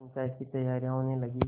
पंचायत की तैयारियाँ होने लगीं